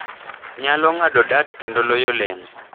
nyalo ng’ado dart kendo loyo leno.